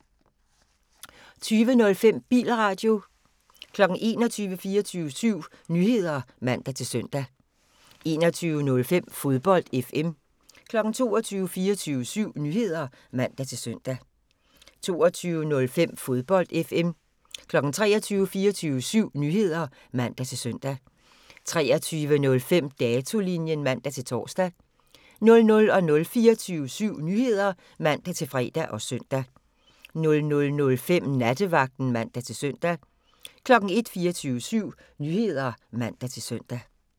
20:05: Bilradio 21:00: 24syv Nyheder (man-søn) 21:05: Fodbold FM 22:00: 24syv Nyheder (man-søn) 22:05: Fodbold FM 23:00: 24syv Nyheder (man-søn) 23:05: Datolinjen (man-tor) 00:00: 24syv Nyheder (man-fre og søn) 00:05: Nattevagten (man-søn) 01:00: 24syv Nyheder (man-søn)